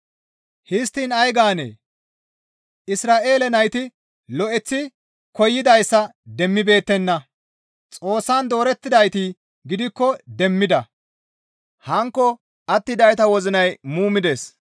Histtiin ay gaanee? Isra7eele nayti lo7eththi koyidayssa demmibeettenna; Xoossan doorettidayti gidikko demmida; hankko attidayta wozinay muumides.